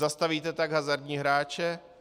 Zastavíte tak hazardní hráče?